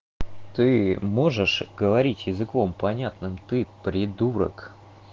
ты можешь говорить языком понятным ты придурок